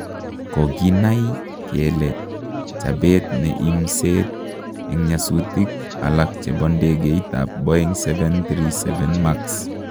koginai kele chapeet ne imseet en nyasutik alag chepo ndegeit ap Boeng 737 Max